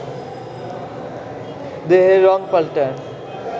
দেহের রঙ পাল্টায়